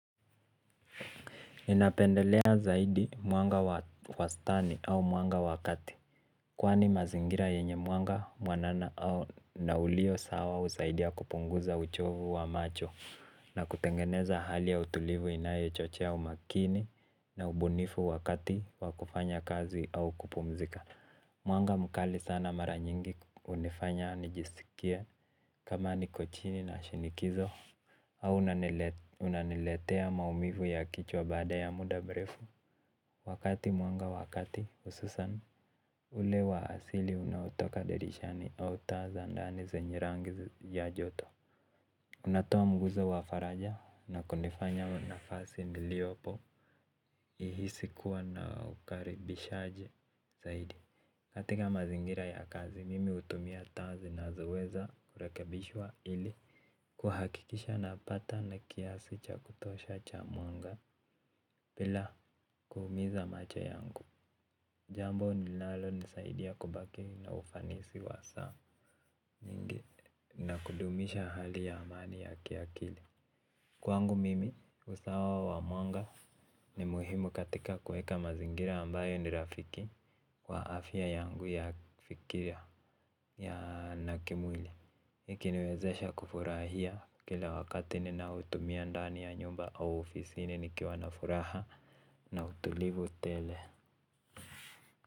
Ninapendelea zaidi mwanga wa wastani au mwanga wa kati. Kwani mazingira yenye mwanga, mwanana au na ulio sawa husaidia kupunguza uchovu wa macho. Na kutengeneza hali ya utulivu inayochochea umakini na ubunifu wakati wa kufanya kazi au kupumzika. Mwanga mkali sana mara nyingi hunifanya nijiskie kama niko chini na shinikizo. Au unaniletea maumivu ya kichwa baada ya muda mrefu. Wakati mwanga wa kati hususan ule wa asili unaotoka dirishani au taa za ndani zenye rangi ya joto unatoa mguzo wa faraja na kunifanya nafasi niliopo ihisi kuwa na ukaribishaji zaidi. Katika mazingira ya kazi, mimi hutumia taa zinazoweza kurekebishwa ili kuhakikisha napata na kiasi cha kutosha cha mwanga bila kuumiza macho yangu. Jambo linalonisaidia kubaki na ufanisi wa saa na kudumisha hali ya amani ya kiakili. Kwangu mimi, usawa wa mwanga ni muhimu katika kuweka mazingira ambayo ni rafiki kwa afya yangu ya kufikiria ya na kimwili. Ikiniwezesha kufurahia kila wakati ninaotumia ndani ya nyumba au ofisini nikiwa na furaha na utulivu tele.